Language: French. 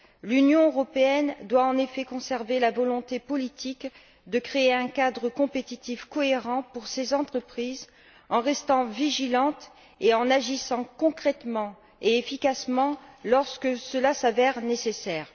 L'Union européenne doit en effet conserver la volonté politique de créer un cadre compétitif cohérent pour ses entreprises, en restant vigilante et en agissant concrètement et efficacement lorsque cela s'avère nécessaire.